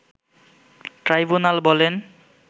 tribunal বলেন